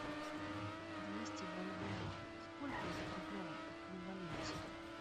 двести бальбоа сколько это в рублевом эквиваленте